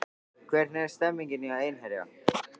Hvernig er stemningin hjá Einherja?